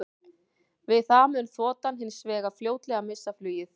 Við það mundi þotan hins vegar fljótlega missa flugið.